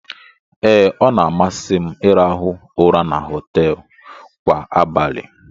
Ee, ọ na-amasị m ịrahụ ụra na họteelụ kwa abalị